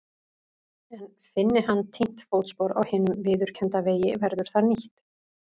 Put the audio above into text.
En finni hann týnt fótspor á hinum viðurkennda vegi verður það nýtt.